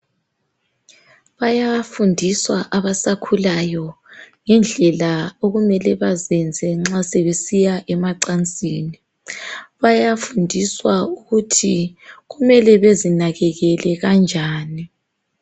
Baya fundiswa abasakhulayo ngendlela okumele bazenze nxa sebesiya emacansini. Bayafundiswa ukuthi kumele bezinakekele kanjani.